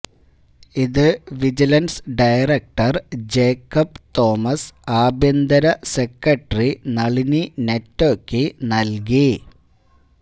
ഇത് vigilance director Jacob Thomas ആഭ്യന്തര secretary Nalini നെറ്റോക്ക് നല്കി